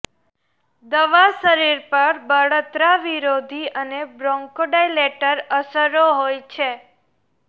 દવા શરીર પર બળતરા વિરોધી અને બ્રોન્કોડાયલેટર અસરો હોય છે